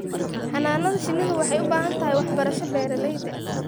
Xannaanada shinnidu waxay u baahan tahay waxbarasho beeralayda.